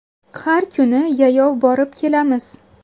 Har kuni yayov borib-kelamiz.